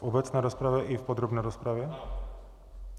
V obecné rozpravě i v podrobné rozpravě?